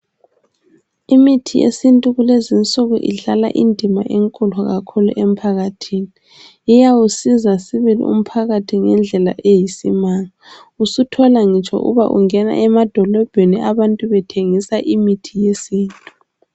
Imithi yesiNtu kulezi insuku idlala indima enkulu kakhulu emphakathini iyawusiza sibili umphakathi ngendlela eyisimanga usuthola ngitsho uba ungena emadolobheni abantu bethengisa imithi yesiNtu.